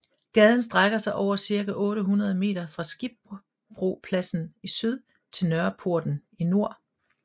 Gaden strækker sig over cirka 800 meter fra Skibbropladsen i syd til Nørreporten i nord